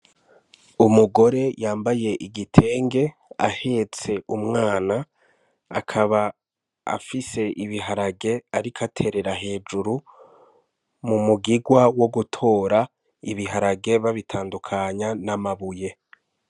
Umugore yambaye igitenge ahetse umwana akaba afise ibiharage ariko aterera hejuru mu mugigwa wo gutora ibiharage babitandukanya n' amabuye.